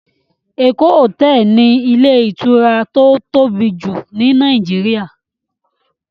Eko hotel ni ilé ìtura tó tóbi jù ni Nàìjíríà.